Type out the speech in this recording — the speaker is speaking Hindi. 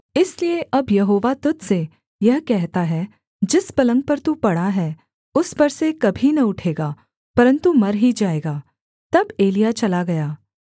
इसलिए अब यहोवा तुझ से यह कहता है जिस पलंग पर तू पड़ा है उस पर से कभी न उठेगा परन्तु मर ही जाएगा तब एलिय्याह चला गया